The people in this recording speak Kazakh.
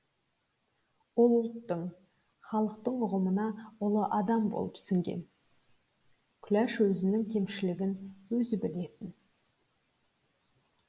ол ұлттың халықтың ұғымына ұлы адам болып сіңген күләш өзінің кемшілігін өзі білетін